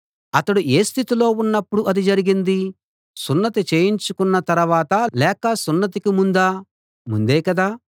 అతడు ఏ స్థితిలో ఉన్నప్పుడు అది జరిగింది సున్నతి చేయించుకున్న తరవాతా లేక సున్నతికి ముందా ముందే కదా